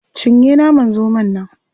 Cinye naman zomon nan.